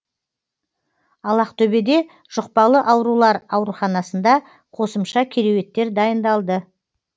ал ақтөбеде жұқпалы аурулар ауруханасында қосымша кереуеттер дайындалды